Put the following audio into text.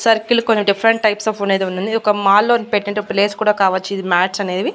Circle కూడా different types of అనేది ఉండింది ఒక మాల్ లో పెట్టేటప్పుడు లేస్ కూడా కావచ్చు ఇది మాట్స్ అనేవి.